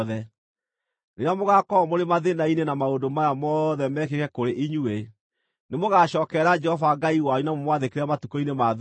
Rĩrĩa mũgaakorwo mũrĩ mathĩĩna-inĩ na maũndũ maya mothe mekĩke kũrĩ inyuĩ, nĩmũgacookerera Jehova Ngai wanyu na mũmwathĩkĩre matukũ-inĩ ma thuutha.